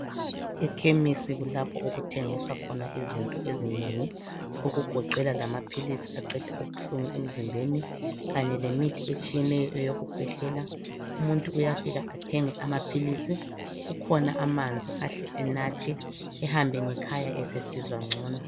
Ikhemisi kulapho okuthwengiswa khona izinto ezinengi okugoqela lamaphilisi aqeda ubuhlungu emzimbeni kanye lemithi etshiyeneyo eyokukhwehlela. Umuntu uyafika athenge amaphilisi. Kukhona amanzi ahle enathe ehambe ngekhaya esesizwa ngcono.